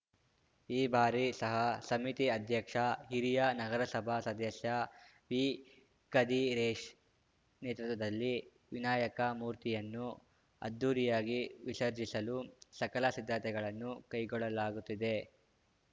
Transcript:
ಈ ಬಾರಿ ಸಹ ಸಮಿತಿ ಅಧ್ಯಕ್ಷ ಹಿರಿಯ ನಗರಸಭಾ ಸದಸ್ಯ ವಿಕದಿರೇಶ್‌ ನೇತೃತ್ವದಲ್ಲಿ ವಿನಾಯಕ ಮೂರ್ತಿಯನ್ನು ಅದ್ಧೂರಿಯಾಗಿ ವಿಸರ್ಜಿಸಲು ಸಕಲ ಸಿದ್ಧತೆಗಳನ್ನು ಕೈಗೊಳ್ಳಲಾಗುತ್ತಿದೆ